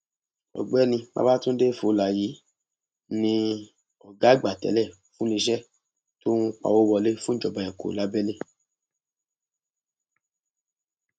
ọgbẹni babàtúndé fowler yìí ní ọgá àgbà tẹlẹ fún iléeṣẹ tó ń pawọ wọlé fún ìjọba èkó lábẹlé